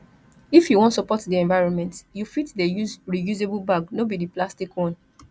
if you wan support di environment you fit dey use reusable bag no be di plastic one